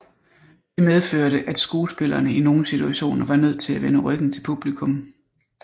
Det medførte at skuespillerne i nogen situationer var nødt til at vende ryggen til publikum